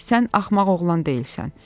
Sən axmaq oğlan deyilsən.